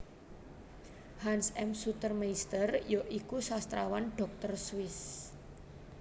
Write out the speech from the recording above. Hans M Sutermeister ya iku sastrawan dhokter Swiss